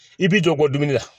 I bi jɔ bɔ dumuni la